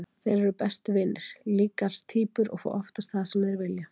Þeir eru bestu vinir, líkar týpur og fá oftast það sem þeir vilja.